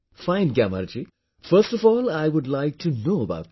Fine Gyamar ji, first of all I would like toknow about you